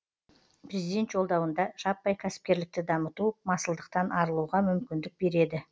президент жолдауында жаппай кәсіпкерлікті дамыту масылдықтан арылуға мүмкіндік береді